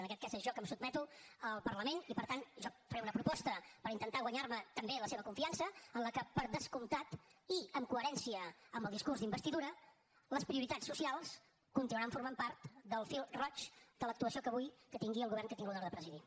en aquest cas sóc jo que em sotmeto al parlament i per tant jo faré una proposta per intentar guanyar me també la seva confiança en què per descomptat i en coherència amb el discurs d’investidura les prioritats socials continuaran formant part del fil roig de l’actuació que tingui el govern que tinc l’honor de presidir